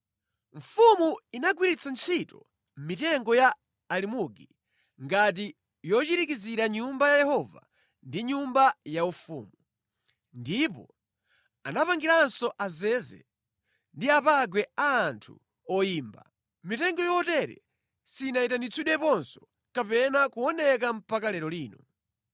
Mfumu inagwiritsa ntchito mitengo ya alimugi ngati yochirikizira Nyumba ya Yehova ndi nyumba yaufumu, ndipo anapangiranso azeze ndi apangwe a anthu oyimba. Mitengo yotere sinayitanitsidweponso kapena kuoneka mpaka lero lino).